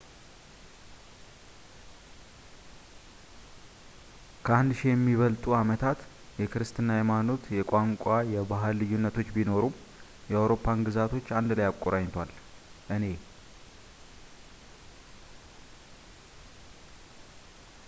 ከአንድ ሺህ ለሚበልጡ ዓመታት የክርስትና ሃይማኖት የቋንቋና የባህል ልዩነቶች ቢኖሩም የአውሮፓን ግዛቶች አንድ ላይ አቆራኝቷል እኔ